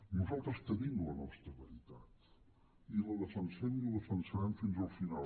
nosaltres tenim la nostra veritat i la defensem i la defensarem fins al final